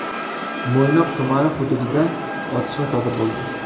Mo‘ynoq tumani hududida otishma sodir bo‘ldi.